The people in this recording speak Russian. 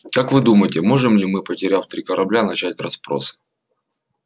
как вы думаете можем ли мы потеряв три корабля начать расспрос